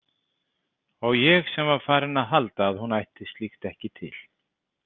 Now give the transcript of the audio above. Og ég sem var farinn að halda að hún ætti slíkt ekki til.